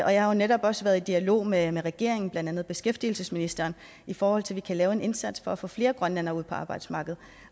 jeg har jo netop også været i dialog med med regeringen blandt andet beskæftigelsesministeren i forhold til at vi kan lave en indsats for at få flere grønlændere ud på arbejdsmarkedet